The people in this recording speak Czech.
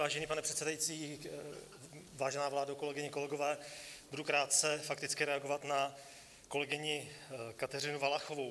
Vážený pane předsedající, vážená vládo, kolegyně, kolegové, budu krátce fakticky reagovat na kolegyni Kateřinu Valachovou.